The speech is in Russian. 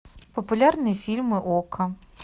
популярные фильмы окко